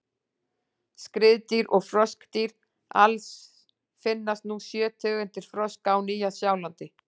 Skriðdýr og froskdýr: Alls finnast nú sjö tegundir froska á Nýja-Sjálandi.